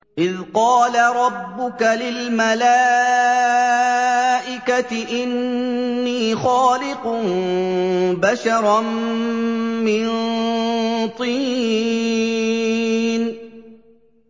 إِذْ قَالَ رَبُّكَ لِلْمَلَائِكَةِ إِنِّي خَالِقٌ بَشَرًا مِّن طِينٍ